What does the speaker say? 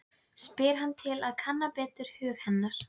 spyr hann til að kanna betur hug hennar.